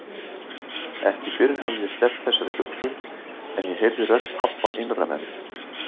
Ekki fyrr hafði ég sleppt þessari hugsun en ég heyrði rödd pabba innra með mér